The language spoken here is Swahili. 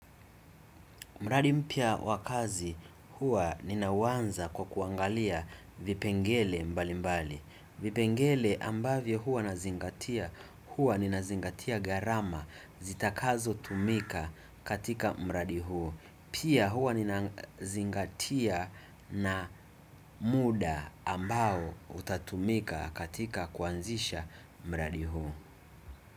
Mradi mpya wa kazi hua ninauwanza kwa kuangalia vipengele mbali mbali. Vipengele ambavyo hua nazingatia hua ninazingatia garama zitakazo tumika katika mradi huu. Pia huwa ninazingatia na muda ambao utakaotumika katika kuanzisha mradi huu.